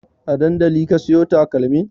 A dandali ka siyo takalmin?